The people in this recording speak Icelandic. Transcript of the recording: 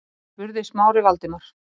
spurði Smári Valdimar.